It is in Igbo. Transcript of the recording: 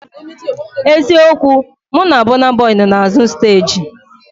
Eziokwu, mụ na Bọna Bọi nọ n'azụ steeji